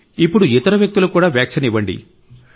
ఇప్పుడు ఇతర వ్యక్తులకు వ్యాక్సిన్ ఇవ్వండి